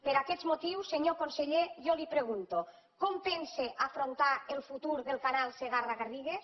per aquests motius senyor conseller jo li pregunto com pensa afrontar el futur del canal segarra garrigues